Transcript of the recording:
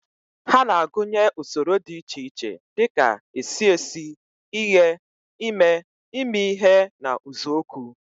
Ha na-agụnye usoro dị iche iche dị ka esi esi, ighe, ime, imi ihe na uzuoku.